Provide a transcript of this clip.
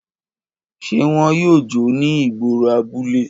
Ṣe wọn yoo jó ni igboro abule?